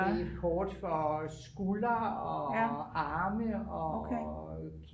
det er hårdt for skulder og arme og